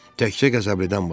Təkcə qəzəbdən başqa.